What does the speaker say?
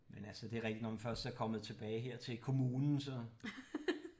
Men altså det er rigtigt når man først er kommet tilbage hertil kommunen så